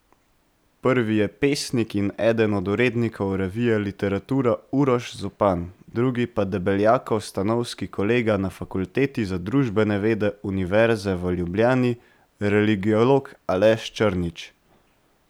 Prvi je pesnik in eden od urednikov revije Literatura Uroš Zupan, drugi pa Debeljakov stanovski kolega na Fakulteti za družbene vede Univerze v Ljubljani, religiolog Aleš Črnič.